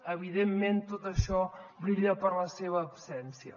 evidentment tot això brilla per la seva absència